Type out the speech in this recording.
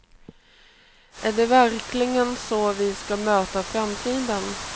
Är det verkligen så vi ska möta framtiden?